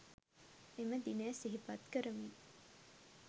එම දිනය සිහිපත් කරමින්